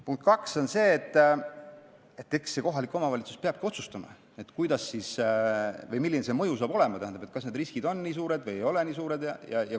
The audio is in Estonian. Punkt 2 on see, et eks kohalik omavalitsus peabki otsustama, peabki vaatama, milline see mõju hakkab olema, kas need riskid on nii suured või ei ole.